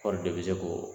Kɔɔri de bɛ se k'o